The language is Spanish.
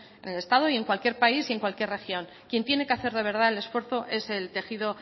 en el estado en cualquier país y en cualquier región quien tiene que hacer de verdad es el esfuerzo es el tejido